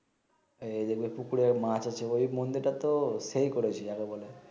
এই দেখাবে পুকুরে মাছ আছে ঐ মন্দির টা তো সেই করেছে আরো বলে